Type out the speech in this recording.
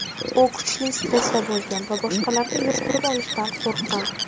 U kuchli stressda bo‘lgan va boshqalarga yuqtirib olishdan qo‘rqqan.